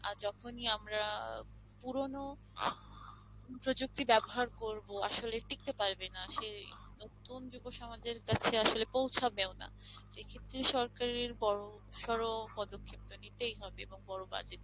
আহ যখনি আমরা পুরনো প্রযুক্তি ব্যবহার করবো আসলে টিকতে পারবে না সে নতুন যুব সমাজের কাছে আসলে পৌঁছাবেও না এক্ষেত্রে সরকারের বড়সর পদক্ষেপ তো নিতেই হবে এবং বড় বাজেট